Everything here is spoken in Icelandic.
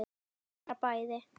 Bara bæði.